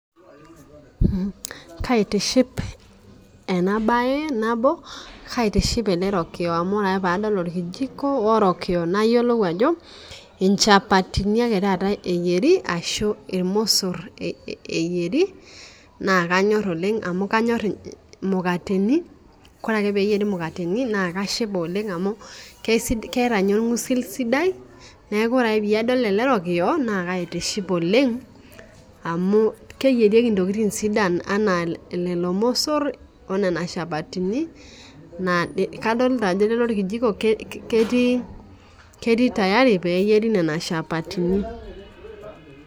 Kaitiship ena baye nabo kaitiship ele rokiyo amu ore ake paadol orkijiko orokiyo nayiolou ajo inchapatini ake taata eyieri ashu irmosorr eh eyieri naa kanyorr oleng amu kanyorr imukateni kore ake peyieri imukateni naa kashipa oleng amu kesidai keeta ninye orng'usil sidai neeku ore ake peyie adol ele rokiyo naa kaitiship oleng amu keyierieki intokiting sidan anaa lelo msorr enaa nena shapatini naa kadolta ajpo lle orkijiko ke ketii ketii tayari peyieri nana shapatini.